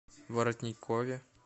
воротникове